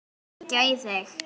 Má ég hringja í þig?